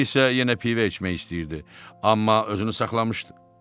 O isə yenə pivə içmək istəyirdi, amma özünü saxlamışdı.